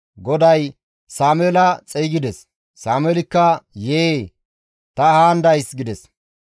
GODAY Sameela xeygides; Sameelikka, «Yee, ta haan days» gides.